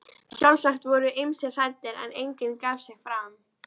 Sjálfsagt voru ýmsir hræddir, en enginn gaf sig fram.